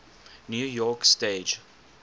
new york stage